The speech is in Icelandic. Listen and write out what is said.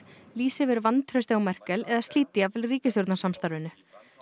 lýsi yfir vantrausti á Merkel eða slíti jafnvel ríkisstjórnarsamstarfinu